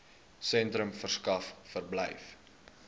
sentrums verskaf verblyf